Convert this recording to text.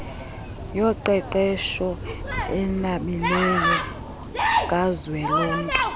yoqeqesho enabileyo kazwelonke